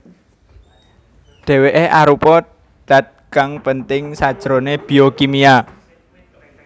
Dèwèké arupa dat kang penting sajroné biokimia